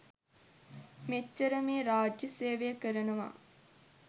මෙච්චර මේ රාජ්‍ය සේවය කරනවා